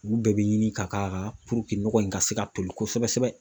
Olu bɛɛ bi ɲini ka k'a kan nɔgɔ in ka se ka toli kosɛbɛ